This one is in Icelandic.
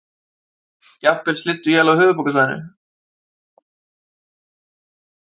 Jafnvel slydduél á höfuðborgarsvæðinu